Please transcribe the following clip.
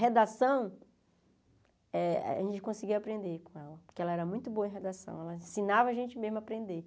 Redação, eh a gente conseguia aprender com ela, porque ela era muito boa em redação, ela ensinava a gente mesmo a aprender.